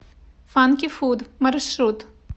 фанки фуд маршрут